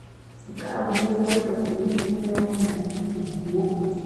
Nke a bụ okwu e kwesiri itinye ọnụ na ya ozigbo.